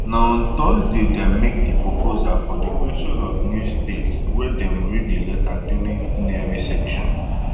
na on thursday dem make di proposal for di creation of new states wen dem read di letter during plenary session